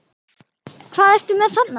Hvað ertu með þarna?